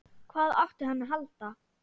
Hvað átti hann að halda?